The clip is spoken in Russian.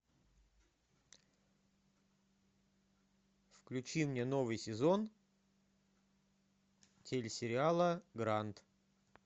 включи мне новый сезон телесериала гранд